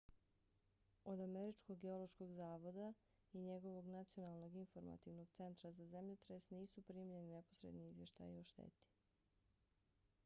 od američkog geološkog zavoda usgs i njegovog nacionalnog informativnog centra za zemljotres nisu primljeni neposredni izvještaji o šteti